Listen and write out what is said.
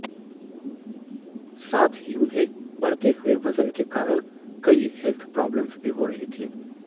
साथ ही उन्हें बढ़ते हुए वजन के कारण कई हैल्थ प्रॉब्लम्स भी हो रही थीं